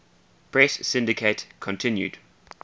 press syndicate continued